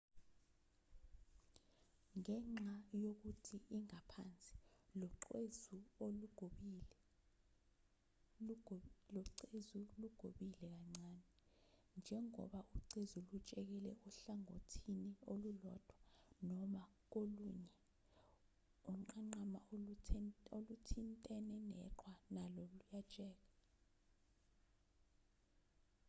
ngenxa yokuthi ingaphansi locezu lugobile kancane njengoba ucezu lutshekela ohlangothini olulodwa noma kolunye unqanqama oluthintene neqhwa nalo luyatsheka